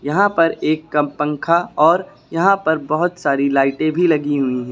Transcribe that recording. यहां पर एक का पंखा और यहां पर बहुत सारी लाइटें भी लगी हुई हैं।